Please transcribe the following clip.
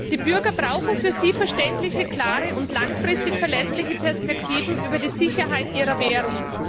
Die Bürger brauchen für sie verständliche, klare und langfristig verlässliche Perspektiven für die Sicherheit ihrer Währung.